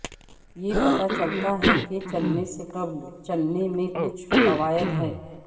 یہ پتہ چلتا ہے کہ چلنے سے قبل چلنے میں کچھ فوائد ہیں